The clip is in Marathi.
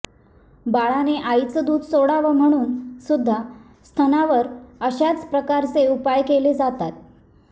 बाळाने आईचं दुध सोडावं म्हणून सुद्धा स्तनांवर अशाच प्रकारचे उपाय केले जातात